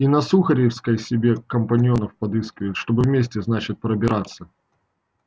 и на сухаревской себе компаньонов подыскивают чтобы вместе значит пробираться